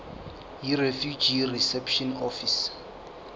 yirefugee reception office